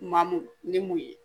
Maa mun ni mun ye